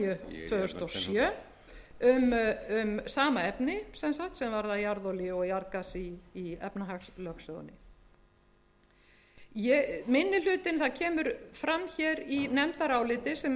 númer fjörutíu og níu tvö þúsund og sjö um sama efni sem sagt sem varðar jarðolíu og jarðgas í efnahagslögsögunni það kemur fram í nefndaráliti sem